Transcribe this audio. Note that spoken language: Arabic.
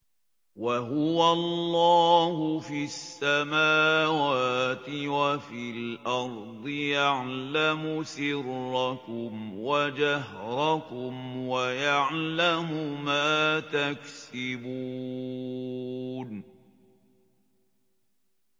وَهُوَ اللَّهُ فِي السَّمَاوَاتِ وَفِي الْأَرْضِ ۖ يَعْلَمُ سِرَّكُمْ وَجَهْرَكُمْ وَيَعْلَمُ مَا تَكْسِبُونَ